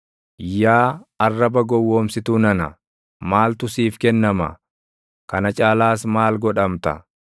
Yaa arraba gowwoomsituu nana, maaltu siif kennama? Kana caalaas maal godhamta?